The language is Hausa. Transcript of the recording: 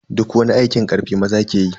Duk wani aikin karfi maza ke yi.